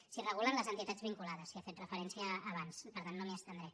s’hi regulen les entitats vinculades s’hi ha fet referència abans i per tant no m’hi estendré